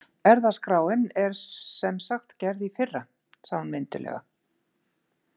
Erfðaskráin er sem sagt gerð í fyrra, sagði hún mynduglega.